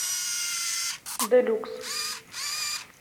делюкс